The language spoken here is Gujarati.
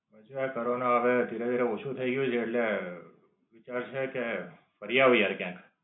આ કોરોના હવે ધીરે ધીરે ઓછું થાય ગયું છે એટલે ફરી આવીયે ક્યાંક.